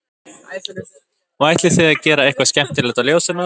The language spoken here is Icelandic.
Og ætlið þið að gera eitthvað skemmtilegt á Ljósanótt?